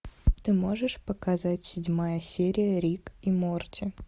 ты можешь показать седьмая серия рик и морти